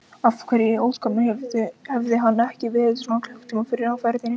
Af hverju í ósköpunum hafði hann ekki verið svona klukkutíma fyrr á ferðinni?